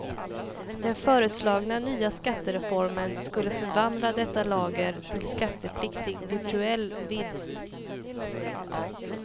Den föreslagna nya skattereformen skulle förvandla detta lager till skattepliktig virtuell vinst.